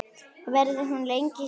Verður hún lengi hjá þér?